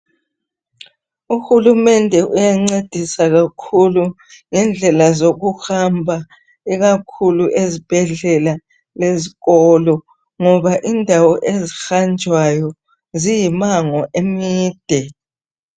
UHulumende uyancedisa kakhulu ngendlela zokuhamba ikakhulu ezibhedlela lezikolo. Ngoba indawo ezihanjwayo ziyimango emide.